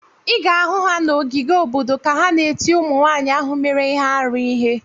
Ị ga-ahụ ha na ogige obodo ka ha na-eti ụmụnwaanyị ahụ mere ihe arụ ihe.